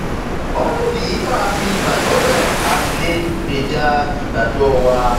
ó nídìí tá a fi gbàgbọ bẹẹ a sì lè gbèjà ìgbàgbọ wa